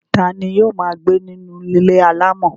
ta ni yóò máa gbé ní inú ilé alámọ̀?